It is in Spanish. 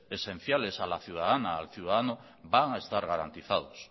esenciales a la ciudadana o al ciudadano van a estar garantizados